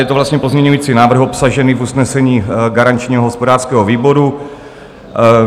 Je to vlastně pozměňovací návrh obsažený v usnesení garančního hospodářského výboru.